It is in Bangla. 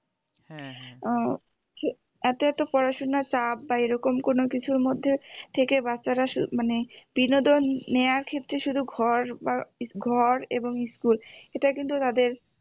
উহ এত এত পড়াশোনার চাপ বা এরকম কোনো কিছুর মধ্যে থেকে বাচ্চারা মানে বিনোদন নেওয়ার ক্ষেত্রে শুধু ঘর বা ঘর এবং ইস্কুল এটা কিন্তু তাদের